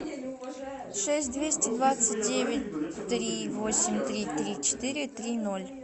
шесть двести двадцать девять три восемь три три четыре три ноль